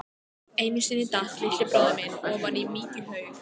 Einu sinni datt litli bróðir minn ofan í mykjuhaug.